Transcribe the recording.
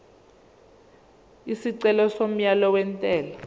isicelo somyalo wentela